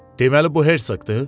Deməli bu Herşoqdur?